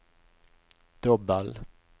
dobbel